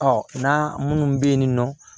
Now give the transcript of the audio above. n'a minnu bɛ yen nɔ